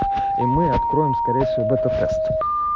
и мы откроем скорее всего бета тест